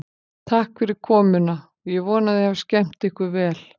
Takk fyrir komuna og ég vona að þið hafið skemmt ykkur vel.